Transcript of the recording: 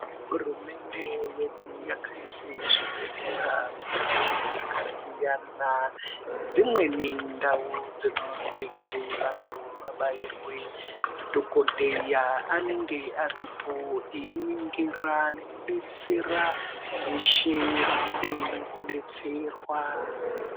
Hurumende yedu yakaise zvibhedhlera mundau dzakasiyana. Dzimweni ndau dzinoite kuti vantu vabairwe. Madhogodheya anenge aripo einingira nekubetsera veshe vanode kubetserwa.